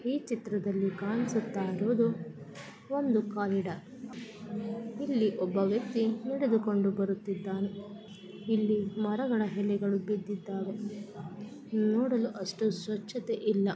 ಈ ಚಿತ್ರದಲ್ಲಿ ಕಾಣಿಸುತ್ತಾಯಿರುವುದು ಒಂದು ಕಾರಿಡಾರ್ ಇಲ್ಲಿ ಒಬ್ಬ ವ್ಯಕ್ತಿ ನಡೆದುಕೊಂಡು ಬರುತ್ತಿದ್ದಾನೆ ಇಲ್ಲಿ ಮರಗಳ ಹೆಲೆಗಳು ಬಿದ್ದಿದ್ದಾವೆ ನೋಡಲು ಅಷ್ಟು ಸ್ವಚ್ಛತೆ ಇಲ್ಲ--